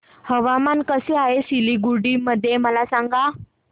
हवामान कसे आहे सिलीगुडी मध्ये मला सांगा